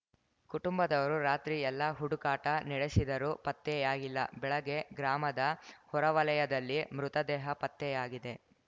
ಕುಟುಂಬದವರು ರಾತ್ರಿ ಎಲ್ಲ ಹುಡುಕಾಟ ನಡೆಸಿದರೂ ಪತ್ತೆಯಾಗಿಲ್ಲ ಬೆಳಗ್ಗೆ ಗ್ರಾಮದ ಹೊರವಲಯದಲ್ಲಿ ಮೃತದೇಹ ಪತ್ತೆಯಾಗಿದೆ